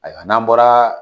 Ayiwa n'an bɔra